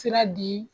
Sira di